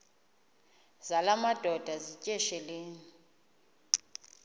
zala madoda yityesheleni